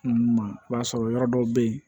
i b'a sɔrɔ yɔrɔ dɔw bɛ yen